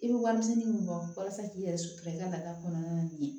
I bɛ warimisɛnnin min bɔ walasa k'i yɛrɛ sutura i ka laada kɔnɔna na